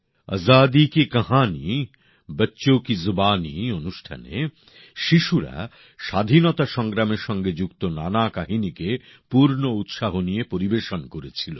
আজাদী কি কঁহানী বচ্চো কি জুবানি অনুষ্ঠানে শিশুরা স্বাধীনতা সংগ্রামের সঙ্গে যুক্ত নানা কাহিনীকে পূর্ণ উৎসাহ নিয়ে পরিবেশন করেছিল